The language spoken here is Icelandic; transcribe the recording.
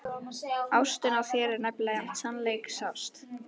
Ástin á þér er nefnilega sannleiksást.